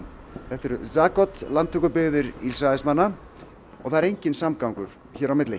þetta eru landtökubyggðir Ísraelsmanna og það er enginn samgangur á milli